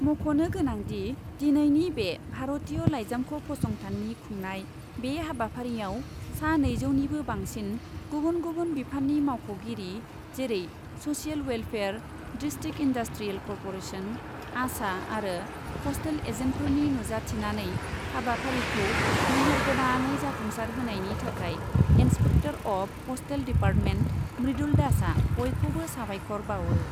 मख'नो गोनां दि, दिनैनि बे भारतीय लाइजामख' फसंथाननि खुंनाय बे हाबाफारियाव सा नैजौनिबो बांसिन गुबुन गुबुन बिफाननि मावख'गिरि, जेरै social welfare, district industrial corporation, ASHA आरो प'स्टेल एजेन्टफोरनि नुजाथिनानै हाबाफारिखौ मेहेर गोनाङै जाफुंसार होनायनि थाखाय inspector of postal department Mridul दासआ बयखौबो साबायखर बावो।